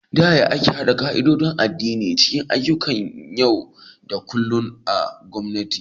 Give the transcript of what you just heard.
Ta yaya ake haɗa ƙa'idodin addini cikin ayyukan yau da kullun na gwamnati?